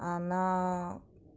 она